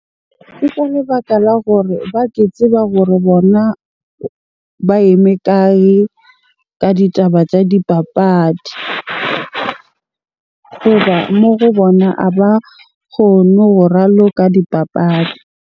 Ke ka lebaka la gore ba ke tseba hore bona ba eme kae ka ditaba tsa dipapadi? Hoba mo go bona a ba kgone ho raloka dipapadi.